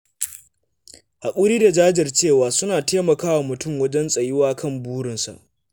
Haƙuri da jajircewa suna taimakawa mutum wajen tsayuwa kan burinsa.